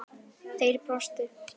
Þeir brostu.